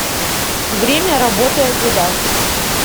время работы адидас